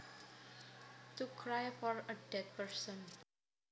To cry for a dead person